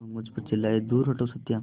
वह मुझ पर चिल्लाए दूर हटो सत्या